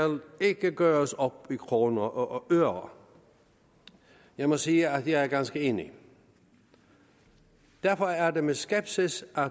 gøres op i kroner og øre jeg må sige at jeg er ganske enig derfor er det med skepsis